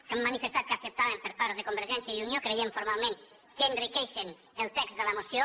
que hem manifestat que acceptàvem per part de convergència i unió creiem formalment que enriqueixen el text de la moció